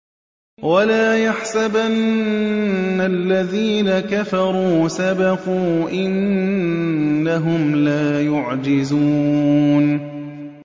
وَلَا يَحْسَبَنَّ الَّذِينَ كَفَرُوا سَبَقُوا ۚ إِنَّهُمْ لَا يُعْجِزُونَ